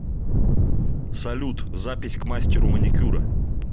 салют запись к мастеру маникюра